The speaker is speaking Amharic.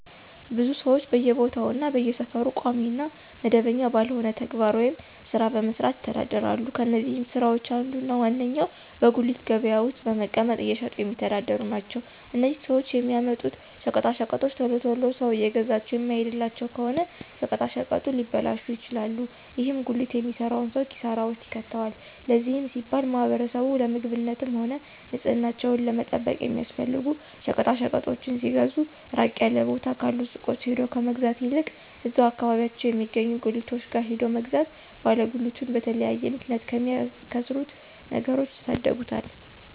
ብዙ ሰወች በየቦታው እና በየሰፈሩ ቋሚ እና መደበኛ ባልሆነ ተግባር ወይም ስራ በመስራት ይተዳደራሉ። ከነዚህም ስራወች አንዱ እና ዋነኛው በጉሊት ገበያ ውስጥ በመቀመጥ እየሸጡ የሚተዳደሩ ናቸው። እነዚህም ሰወች የሚያመጡት ሸቀጣሸቀጦች ቶሎ ቶሎ ሰው እየገዛቸው የማይሄድላቸው ከሆነ ሸቀጣሸቀጡ ሊበላሹ ይችላሉ። ይህም ጉሊት የሚሰራውን ሰው ኪሳራ ውስጥ ይከተዋል። ለዚህም ሲባል ማህበረሰቡ ለምግብነትም ሆነ ንፅህናቸውን ለመጠበቅ የሚያስፈልጉ ሸቀጣሸቀጦችን ሲገዙ ራቅ ያለ ቦታ ካሉ ሱቆች ሄዶ ከመግዛት ይልቅ እዛው አከባቢያቸው የሚገኙ ጉሊቶች ጋር ሄዶ መግዛት ባለ ጉሊቱን በተለያየ ምክንያት ከሚያከስሩት ነገሮች ይታደጉታል።